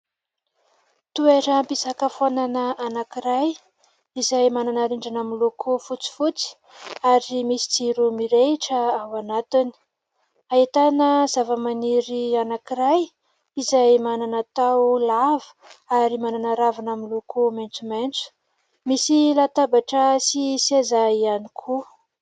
Toeram-pisakafoanana anankiray izay manana rindrina miloko fotsifotsy ary misy jiro mirehitra ao anatiny. Ahitana zava-maniry anankiray izay manana taho lava ary manana ravina miloko maintsomaintso, misy latabatra sy seza ihany koa.